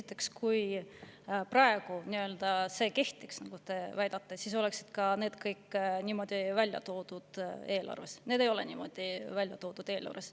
Esiteks, kui see praegu kehtiks, nagu te väidate, siis oleksid need niimoodi ka eelarves välja toodud, aga need ei ole eelarves niimoodi välja toodud.